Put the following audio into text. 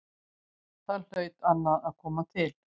Þar hlaut annað að koma til.